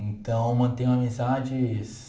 Então, mantenho amizades